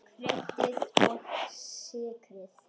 Kryddið og sykrið.